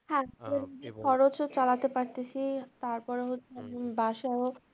খরচ ও চালাতে পারতেছি তারপরে হচ্ছে